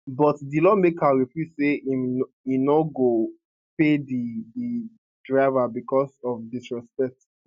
but di lawmaker refuse say im no go pay di di driver becos of disrespect